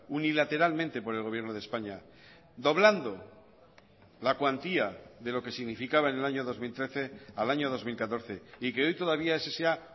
unilateralmente por el gobierno de españa doblando la cuantía de lo que significaba en el año dos mil trece al año dos mil catorce y que hoy todavía ese sea